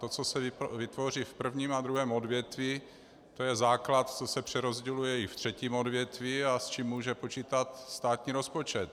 To, co se vytvoří v prvním a druhém odvětví, to je základ, co se přerozděluje i ve třetím odvětví a s čím může počítat státní rozpočet.